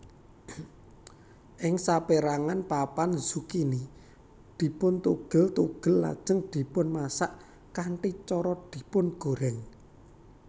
Ing saperangan papan zukini dipuntugel tugel lajeng dipunmasak kanthi cara dipungorèng